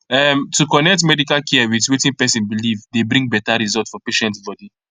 um to connect medical care with wetin person believe dey bring better result for patient body